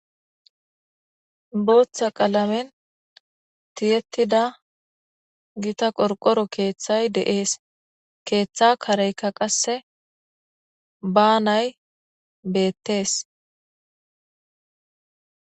Booththa qalamen tiyettida gita qorqoro keeththay deees keeththa kareyka qasse ba nay beettees